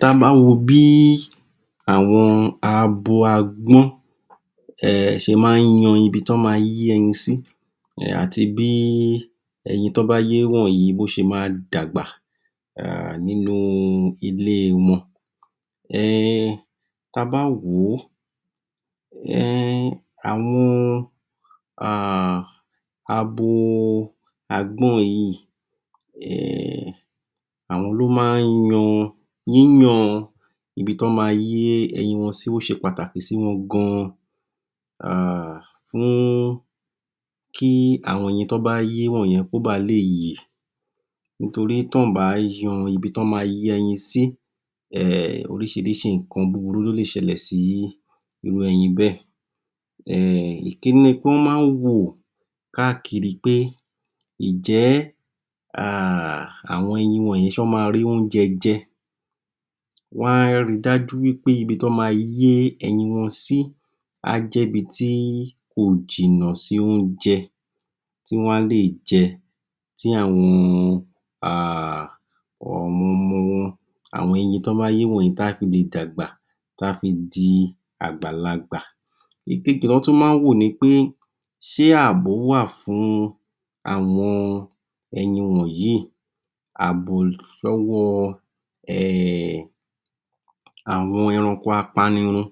Ta bá wo bí àwọn abo agbọ́n um ṣe máa ń yan ibi tí wọ́n ma yé ẹyin sí àti bí ẹyin tí wọ́n bá yé wọnyí ṣe ma dàgbà nínú ilé wọn, um ta bá wò ó um àwọn abo agbọ́n yìí um àwọn ni wọ́n máa ń yan; yíyan ibi tí wọ́n ma yé ẹyin wọn sí ó ṣe pàtàkì sí wọn gan um fún kí àwọn ẹyin tí wọn bá yé wọ̀n yẹn kó ba le yè nítorí tí ò bá yan ibi tí wọ́n ma yé ẹyin sí, um oríṣìiríṣìi nǹkan burúkú ló lè ṣẹlẹ̀ sí irú ẹyin bẹ́ẹ̀. um ìkínní ni pé wọ́n máa ń wò káàkiri pé, ǹ jẹ́ àwọn ẹyin ṣé wọń ma rí oúnjẹ jẹ? wọ́n á rí dájú pé ibi tí wọn ma yé ẹyin wọn sí, á jẹ́ ibi tí kò jìnà sí oúnjẹ tí wọ́n á lè jẹ tí àwọn tí àwọn um ọmọ-ọmọ wọn, àwọn ẹyin tí wọ́n bá yé wọ̀n yẹn tí á fi lè dàgbà, tí á fi lè di àgbàlagbà, ìkejì tí wọ́n tún wá ń wo ni pé ṣe abo wà fún àwọn ẹyin wọ̀nyí, abo lọ́wọ um àwọn ẹranko apanirun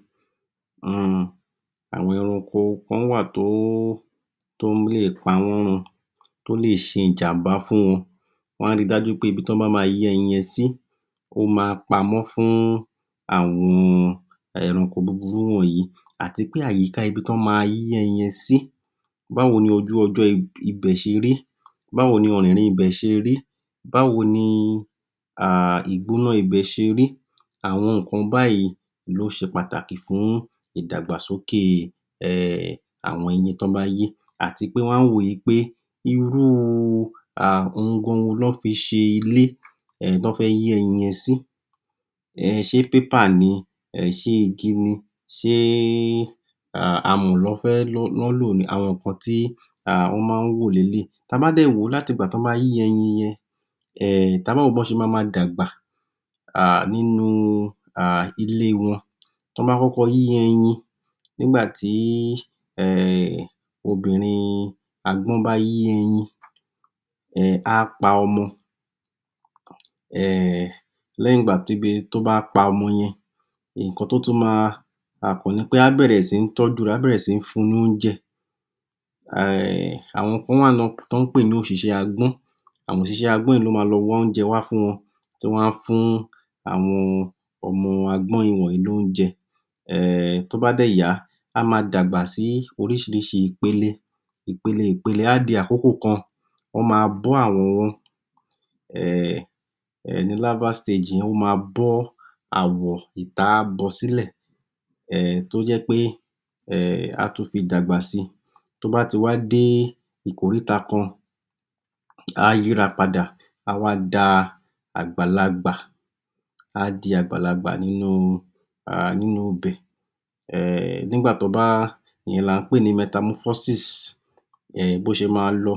um, àwọn eranko kán wà tó lè pa wọ́n run, tó lè ṣe ìjàmbá fún wọn, wọ́n á rí dájú pé ibi tó bá ma yé ẹyin yẹn si ó ma pamọ́ fún àwọn eranko búrubú wọ̀nyí àti pé àyiká ibi tí wọ́n ma yé ẹyin yẹn sí báwo ni ojú ọjọ́ ibẹ̀ ṣe rí, báwo ni ọ̀rìn ibẹ̀ ṣe rí, báwo ni um ìgbọ́ná ibẹ̀ ṣe rí, àwọn nǹkan báyìí ló ṣe pàtàkì fún ìdàgbàsókè um àwọn ẹyin tọ́ bá yé àti pé wọ́n á wò wí pé irú àhun gan wo lọ́ fi ṣe ilé tó fẹ́ yé ẹyin yẹn sí um ṣe pépà ni?, ṣe igi ni?, ṣe amọ̀ ni wọ́n lò ni?, àwọn nǹkan tí wọ́n máa n wò leléyì, ta bá dè wò ó láti ìgbà tó bá yé ẹyin yẹn um tabá wo bí wọ́n ṣe ma ma dàgbà um nínú um ilẹ́ wọn, tọ́bá kọ́kọ́ yé ẹyin nígbà tí um obìnrin agbọ́n bá yé ẹyin á pa ọmọ um lẹ́yìn ìgbà tó bá pa ọmọ yẹn á bẹ̀rẹ̀ sí ní tọ́jú ẹ̀, ẹ́ bẹ̀rẹ̀ sí ní fun lóúnjẹ, àwọn kán wà náà tó ń pè ní òṣìṣẹ́ agbọ́n, àwọn òṣìṣẹ́ agbọ́n yìí ló ma lo wá oúnjẹ wá fún wọn tí wọ́n á fún àwọn ọmọ agbọ́n wọ̀nyí lóúnjẹ um tó bá dè yá, á ma dàgbà sí oríṣìiríṣìi ìpele, ìpele-ìpele á di àkókò kan, wọ́n ma bọ́ àwọ̀ wọn ó ma bọ́ áwọ̀ ìtá á bọ sílè tó jẹ́ pé á tún fi dàgbà si, tó bá ti wá dé ìkoríta kan, á yíra padà, á wá da àgbàlagbà, á di àgbàlagbà nínú ibẹ̀ um, nígbà tó bá, ìyẹn là ń pè ni bó ṣe ma lọ.